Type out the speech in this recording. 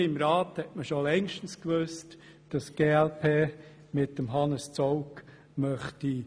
Hier im Rat wusste man schon längst, dass die glp Hannes Zaugg vorschlagen möchte.